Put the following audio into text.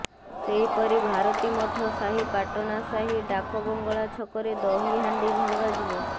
ସେହିପରି ଭାରତୀ ମଠ ସାହି ପାଟଣା ସାହି ଡାକ ବଙ୍ଗଳା ଛକରେ ଦହି ହାଣ୍ଡି ଭଙ୍ଗାଯିବ